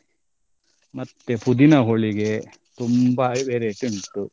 ಮತ್ತೆ ಪುದೀನಾ ಹೋಳಿಗೆ ತುಂಬಾ variety ಉಂಟು.